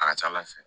A ka ca ala fɛ